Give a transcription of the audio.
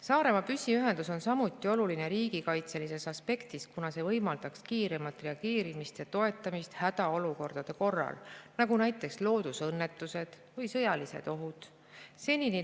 Saaremaa püsiühendus on samuti oluline riigikaitselisest aspektist, kuna see võimaldaks kiiremat reageerimist ja toetamist hädaolukordade korral, nagu näiteks loodusõnnetused või sõjalised ohud.